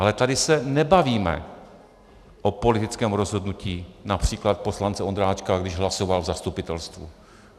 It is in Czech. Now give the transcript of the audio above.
Ale tady se nebavíme o politickém rozhodnutí například poslance Ondráčka, když hlasoval v zastupitelstvu.